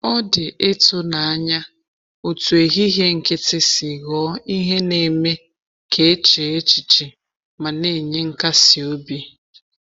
Ọ dị ịtụnanya otú ehihie nkịtị si ghọọ ihe na-eme ka e chee echiche ma na-enye nkasi obi.